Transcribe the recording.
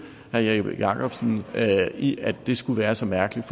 herre jeppe jakobsen i at det skulle være så mærkeligt